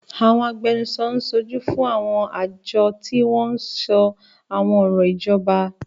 Àwọn agbẹnusọ ń ṣojú fún àwọn àjọ tí wọ́n ń sọ àwọn ọ̀rọ̀ ìjọba.